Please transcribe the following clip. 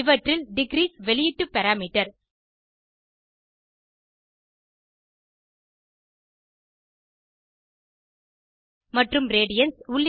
இவற்றில் டிக்ரீஸ் வெளியீட்டு பாராமீட்டர் மற்றும் ரேடியன்ஸ்